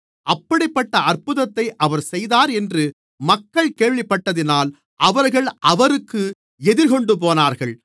அப்படிப்பட்ட அற்புதத்தை அவர் செய்தார் என்று மக்கள் கேள்விப்பட்டதினால் அவர்கள் அவருக்கு எதிர்கொண்டு போனார்கள்